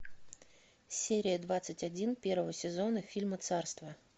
серия двадцать один первого сезона фильма царство